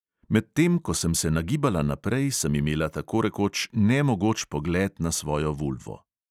Medtem ko sem se nagibala naprej, sem imela tako rekoč nemogoč pogled na svojo vulvo.